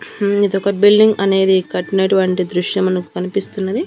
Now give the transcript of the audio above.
ఉమ్ ఇది ఒక బిల్డింగ్ అనేది కట్టినటువంటి దృశ్యం మనకు కనిపిస్తున్నది.